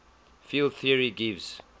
field theory gives